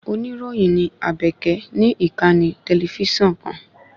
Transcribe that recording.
Oníròyìn ní Àbèkẹ̀ ní ìkànnì tẹlifísàn kan